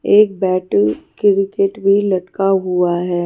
एक bat cricket भी लटका हुआ है।